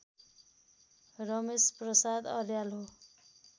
रमेश प्रसाद अर्याल हो